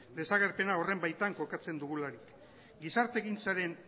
desagerpena horren baitan kokatzen dugularik gizartegintzaren